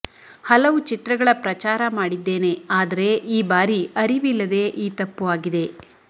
ಹಲವು ಚಿತ್ರಗಳ ಪ್ರಚಾರ ಮಾಡಿದ್ದೇನೆ ಆದರೆ ಈ ಬಾರಿ ಅರಿವಿಲ್ಲದೆ ಈ ತಪ್ಪು ಆಗಿದೆ